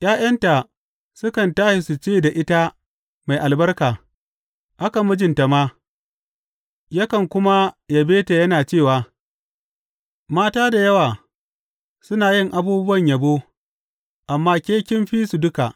’Ya’yanta sukan tashi su ce da ita mai albarka; haka mijinta ma, yakan kuma yabe ta yana cewa, Mata da yawa suna yin abubuwan yabo, amma ke kin fi su duka.